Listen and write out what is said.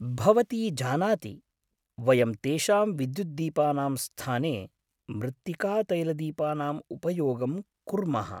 भवती जानाति, वयं तेषां विद्युद्दीपानां स्थाने मृत्तिकातैलदीपानाम् उपयोगं कुर्मः।